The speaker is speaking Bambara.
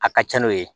A ka ca n'o ye